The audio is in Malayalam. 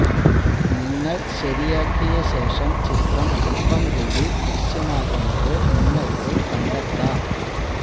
നിങ്ങൾ ശരിയാക്കിയ ശേഷം ചിത്രം അല്പം കൂടി ദൃശ്യമാകുന്നത് നിങ്ങൾക്ക് കണ്ടെത്താം